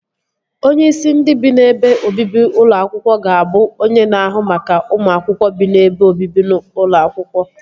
Onyeisi ndị bi n'ebe obibi ụlọ akwụkwọ ga-abụ onye na-ahụ maka ụmụ akwụkwọ bi n'ebe obibi ụlọ akwụkwọ